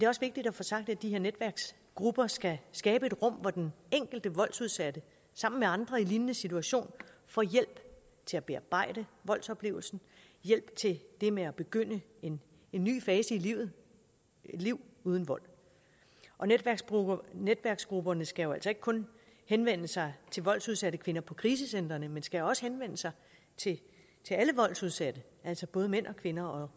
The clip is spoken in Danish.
også vigtigt at få sagt at de her netværksgrupper skal skabe et rum hvor den enkelte voldsudsatte sammen med andre i en lignende situation får hjælp til at bearbejde voldsoplevelsen og hjælp til det med at begynde en ny fase i livet et liv uden vold og netværksgrupperne netværksgrupperne skal jo altså ikke kun henvende sig til voldsudsatte kvinder på krisecentrene men de skal også henvende sig til alle voldsudsatte altså både mænd og kvinder og